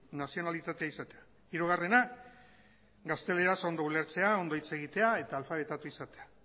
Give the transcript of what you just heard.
nazionalitatea izatea hirugarrena gazteleraz ondo ulertzea ondo hitz egitea eta alfabetatua izatea